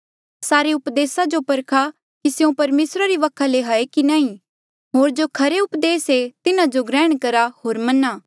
सारे उपदेसा जो परखा कि स्यों परमेसरा री वखा ले हाऐ या नी होर जो खरी उपदेस ऐें तिन्हा जो ग्रहण करहा होर मना